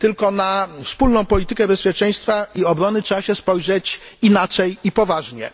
na wspólną politykę bezpieczeństwa i obrony trzeba spojrzeć inaczej i poważnie.